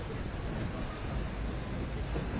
İşə salıb gedirsən.